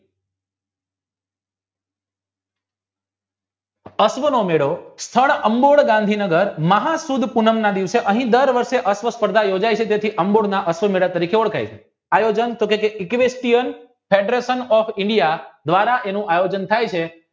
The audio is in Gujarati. અશ્વ નો મેળો સ્થળ અંબોય ગાંધી નગર મહાસુદ પૂનમના દિવસે અહીં દર વર્ષે અશ્વ સ્પર્ધા યોજાય છે તેને અશ્વ મેલા તરીકે ઓળખાય છે આયોજન દ્વારા એનું આયોજન તાહ્ય છે